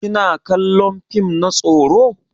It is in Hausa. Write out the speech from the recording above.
Kina kallon fim na tsoro?